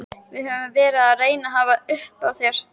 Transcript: Við höfum verið að reyna að hafa upp á þér.